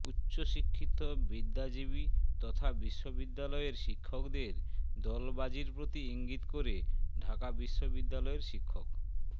উচ্চশিক্ষিত বিদ্যাজীবী তথা বিশ্ববিদ্যালয়ের শিক্ষকদের দলবাজির প্রতি ইংগিত করে ঢাকা বিশ্ববিদ্যালয়ের শিক্ষক